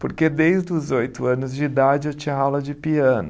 Porque desde os oito anos de idade eu tinha aula de piano.